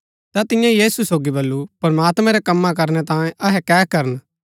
ता तियें यीशु सोगी बल्लू प्रमात्मैं रै कम्मा करणै तांयें अहै कै करन